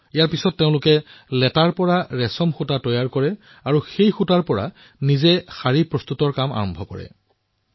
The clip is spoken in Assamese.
ইয়াৰ পিছত তেওঁলোকে কুকুনৰ পৰা ৰেচমৰ সুতা প্ৰস্তুত কৰিলে আৰু সেই সুতাৰ পৰা নিজেই শাৰী প্ৰস্তুত কৰা আৰম্ভ কৰিলে